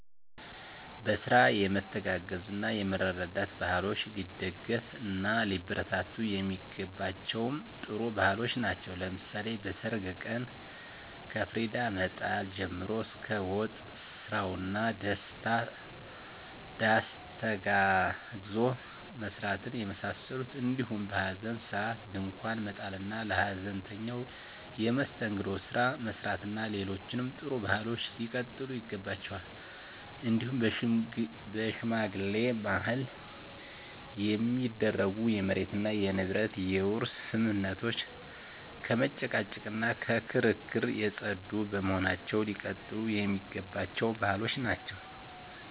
በስራ የመተጋገዝ እና የመረዳዳት ባህሎች ሊደገፍ እና ሊበረታቱ የሚገባቸም ጥሩ ባህሎች ናቸው። ለምሳሌ በሰርግ ቀን ከፍሪዳ መጣል ጀምሮ እስከ ወጥ ስራው እና ዳስ ተጋግዞ መስራትን የመሳሰሉት እንዲሁም በሀዘን ሰአት ድንኳን መጣል እና ለሀዘንተኛው የመስተንግዶ ስራ መስራት እና ሌሎችም ጥሩ ባህሎች ሊቀጥሉ ይገባቸዋል። እንዲሁም በሽማግሌ ማህል የሚደረጉ የመሬት እና የንብረት የውርስ ስምምነቶች ከመጨቃጨቅ እና ከክርክር የፀዱ በመሆናቸው ሊቀጥሉ የሚገባቸው ባህሎች ናቸው።